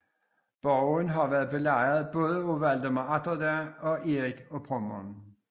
Borgen har været belejret både af Valdemar Atterdag og Erik af Pommern